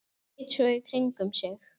Leit svo í kringum mig.